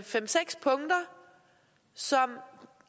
fem seks punkter som